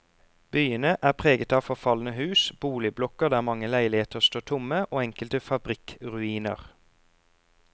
Byene er preget av forfalne hus, boligblokker der mange leiligheter står tomme og enkelte fabrikkruiner.